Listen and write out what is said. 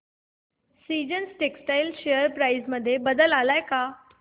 seasons textile share price मध्ये बदल आलाय का